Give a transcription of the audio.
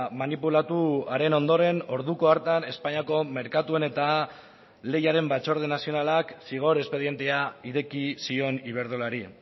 manipulatuaren ondoren orduko hartan espainiako merkatuen eta lehiaren batzorde nazionalak zigor espedientea ireki zion iberdrolari